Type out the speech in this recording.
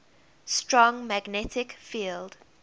strong magnetic field